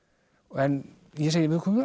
en ég segi